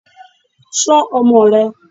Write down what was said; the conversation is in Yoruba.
Ṣọ́ ọmọ rẹ